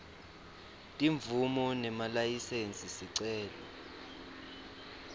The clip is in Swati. timvumo nemalayisensi sicelo